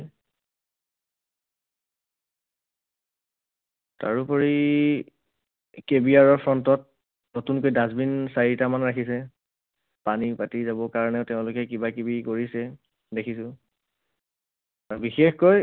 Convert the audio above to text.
তাৰোপৰি KBR ৰ front ত নতুনকৈ dustbin চাৰিটামান ৰাখিছে। পানী পাতি যাব কাৰণে তেওঁলোকে কিবা কিবি কৰিছে দেখিছো। বিশেষকৈ